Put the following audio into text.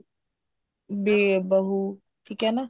ਵੀ ਬਹੂ ਠੀਕ ਐ ਨਾ